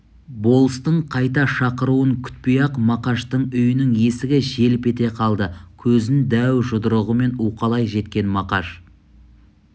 болыстың қайта шақыруын күтпей-ақ мақаштың үйінің есігі желп ете қалды көзін дәу жұдырығымен уқалай жеткен мақаш